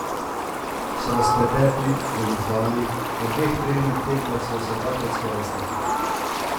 So nas pretepli, goljufali, na dveh trening tekmah smo se dvakrat skoraj stepli ...